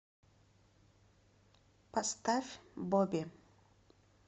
поставь боби